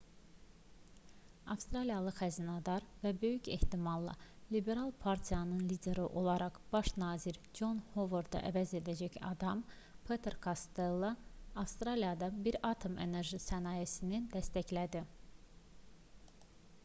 avstraliyalı xəzinədar və böyük ehtimalla liberal partiyanın lideri olaraq baş nazir con hovardı əvəz edəcək adam peter kostello avstraliyada bir atom enerji sənayesini dəstəklədi